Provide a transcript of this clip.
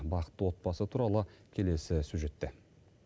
бақытты отбасы туралы келесі сюжетте